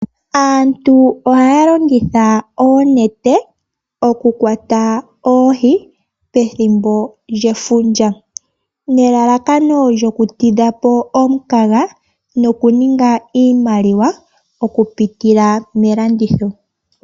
Aantu ohaya longitha oonete oku kwata oohi pethimbo lyefundja, nelalakano lyoku tidha po omukaga, noku ninga iimaliwa oku pitila melanditho.